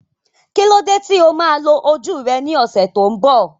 Kí ló dé tí o máa lo ojú rẹ ní ọ̀sẹ̀ tó ń bọ̀?